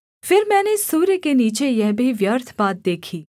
फिर मैंने सूर्य के नीचे यह भी व्यर्थ बात देखी